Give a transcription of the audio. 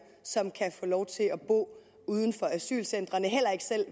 som kan få lov til at bo uden for asylcentrene heller ikke selv